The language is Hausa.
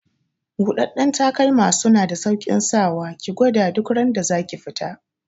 Buɗaɗɗen takalma suna da sauƙin saka wa, ki gwada duk randa zaki fita